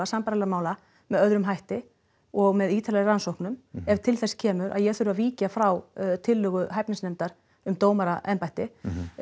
sambærilegra mála með öðrum hætti og með ýtarlegri rannsóknum ef til þess kemur að ég þurfi að víkja frá tillögu hæfnisnefndar um dómaraembætti